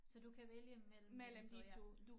Så du kan vælge mellem de 2 ja